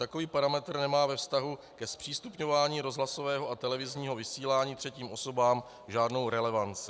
Takový parametr nemá ve vztahu ke zpřístupňování rozhlasového a televizního vysílání třetím osobám žádnou relevanci.